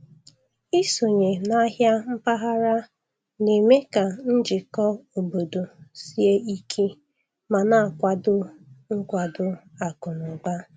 Ịsonye n'ahịa mpaghara na-eme ka njikọ obodo sie ike ma na-akwado nkwado akụ na ụba.